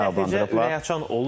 Ümumiyyətlə hər yəni açıq olur.